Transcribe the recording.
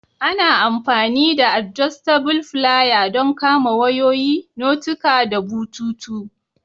Ana amfani da "adjustable filier" don kama wayoyi, notuka da bututu.